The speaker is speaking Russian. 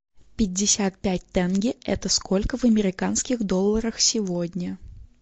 пятьдесят пять тенге это сколько в американских долларах сегодня